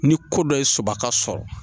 Ni ko dɔ ye sɔ ka sɔrɔ